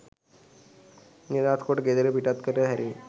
නිදහස් කොට ගෙදර පිටත් කර හැරුණි